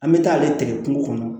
An bɛ taa ale tigɛ kungo kɔnɔ